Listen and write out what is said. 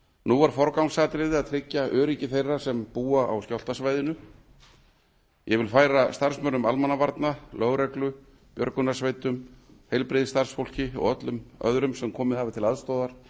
nú er forgangsatriði að tryggja öryggi þeirra sem búa á skjálftasvæðinu og ég vil færa starfsmönnum almannavarna lögreglu björgunarsveitum heilbrigðisstarfsfólki og öllum öðrum sem komið hafa til aðstoðar